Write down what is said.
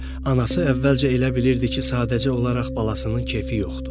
Anası əvvəlcə elə bilirdi ki, sadəcə olaraq balasının keyfi yoxdur.